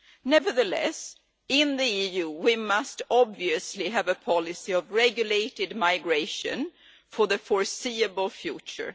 Nevertheless, in the EU, we must obviously have a policy of regulated migration for the foreseeable future.